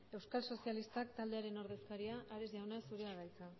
euskal sozialistak taldearen ordezkaria ares jauna zurea da hitza